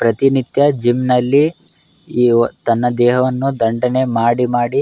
ಪ್ರತಿ ನಿತ್ಯ ಜಿಮ್ ನಲ್ಲಿ ತನ್ನ ದೇಹವನ್ನು ದಂಡನೆ ಮಾಡಿ ಮಾಡಿ --